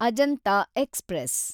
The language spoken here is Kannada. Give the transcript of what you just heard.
ಅಜಂತ ಎಕ್ಸ್‌ಪ್ರೆಸ್